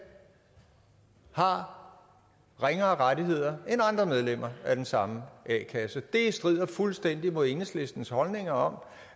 har ringere rettigheder end andre medlemmer af den samme a kasse det strider fuldstændig mod enhedslistens holdninger om